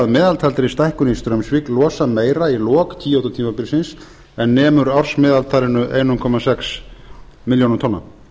meðtaldri stækkun í straumsvík losa meira í lok kyoto tímabilsins en nemur ársmeðaltalinu einn komma sex milljónir tonna